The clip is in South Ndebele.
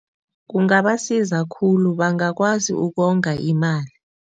Kungabasiza khulu, bangakwazi ukonga imali.